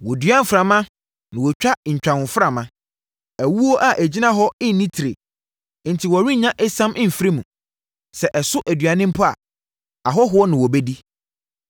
“Wɔdua mframa na wɔtwa ntwahoframa. Awuo a ɛgyina hɔ no nni tire; enti wɔrennya esam mfiri mu. Sɛ ɛso aduane mpo a, ahɔhoɔ na wɔbɛdi.